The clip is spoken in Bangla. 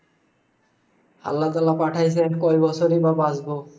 আল্লাহ তালা পাঠাইসে, কয় বছরই বা বাঁচবো।